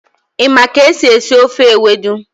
Ị ma ka esi esi ofe Ewedu?